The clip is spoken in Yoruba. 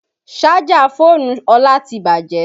Sájà fóònù Ọlá ti bàjẹ́